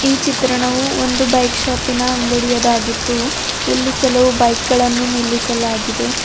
ಈ ಚಿತ್ರಣವು ಒಂದು ಬೈಕ್ ಶಾಪಿನ ಅಂಗಡಿಯದಾಗಿದ್ದು ಇಲ್ಲಿ ಕೆಲವು ಬೈಕ್ ಗಳನ್ನು ನಿಲ್ಲಿಸಲಾಗಿದೆ.